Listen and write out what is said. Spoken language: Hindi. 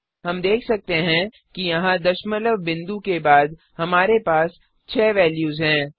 हम देख सकते हैं कि यहाँ दशमलव बिंदुडेसिमल पॉइंट के बाद हमारे पास 6 वेल्यूज हैं